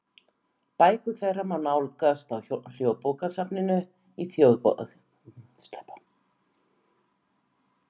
Bækur þeirra má nálgast á Háskólabókasafninu í Þjóðarbókhlöðu.